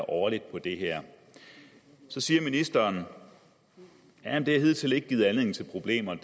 årligt på det her så siger ministeren at det hidtil ikke har givet anledning til problemer